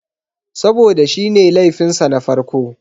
Saboda shi ne laifin sa na farko.